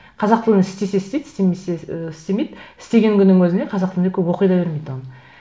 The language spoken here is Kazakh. қазақ тілін істесе істейді істемесе ыыы істемейді істеген күннің өзіне қазақ тілінде көп оқи да бермейді оны